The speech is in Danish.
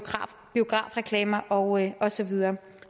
og biografreklamer og og så videre